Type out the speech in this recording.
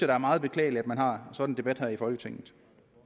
er meget beklageligt at man har sådan en debat her i folketinget